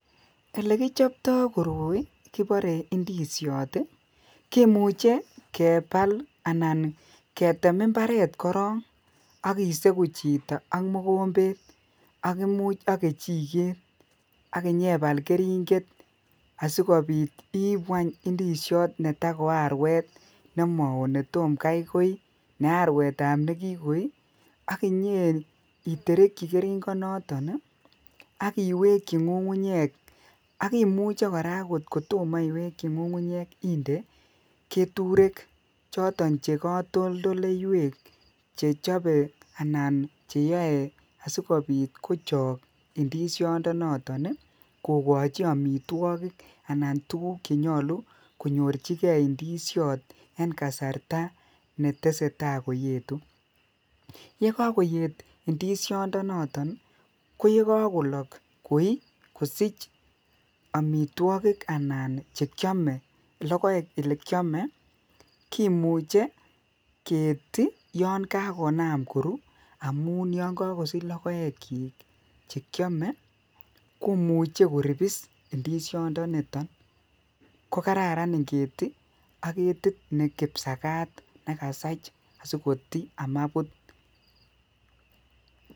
Elegichoptoo koroi kiboree ndisyoot iih kimuche kebaal anan ketem mbareet koroon ak iseguu chito ak mogombeet imuuch ak kechiget ak inyebal keringet asigobiit iibu anyun ndisyoot netago arweet nemaoo netom gai koii nearweet ab negogoii aginyeeterekyii keringet noton agiwekyii ngungunyeek ak imuche koraa oot kotomo iwekyii ngungunyeek indee keturek choton chegatoltoleiyweek chechobe anan cheyoe sigobiit kochook ndisyoot noton iih kogochi omitwogik tuguk chenyolu konyorchigeee ndisyoot en kasarta netesetai koyeetu, yegagoyeet ndisyonok iih ko yegagolook koii, kosich omitwogik anan chekyome anan logoeek olekyomee kimuche keeti yon kagonaam koruu omuun yon kogosich logoek yiik chekyome komuche koribiss ndisyoniton, kogararan ningeeti ak ketit nekipsagaat negasaach asigotii simabuut